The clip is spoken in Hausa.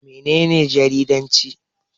Mene ne jaridanci?